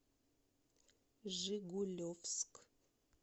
жигулевск